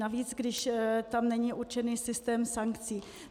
Navíc když tam není určený systém sankcí.